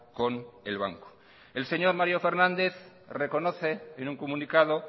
con el banco el señor mario fernández reconoce en un comunicado